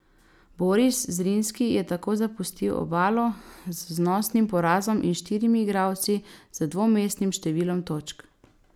Boris Zrinski je tako zapustil Obalo z znosnim porazom in štirimi igralci z dvomestnim številom točk.